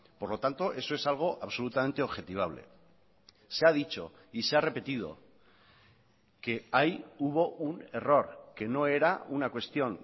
por lo tanto eso es algo absolutamente objetivable se ha dicho y se ha repetido que ahí hubo un error que no era una cuestión